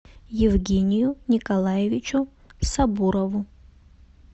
евгению николаевичу сабурову